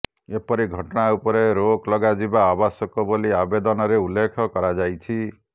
ଏପରି ଘଟଣା ଉପରେ ରୋକ ଲଗା ଯିବା ଆବଶ୍ୟକ ବୋଲି ଆବେଦନରେ ଉଲ୍ଲେଖ କରାଯାଇଛି